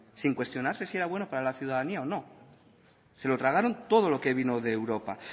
sin cuestionarse si era bueno para la ciudadanía o no se lo tragaron todo lo que vino de europa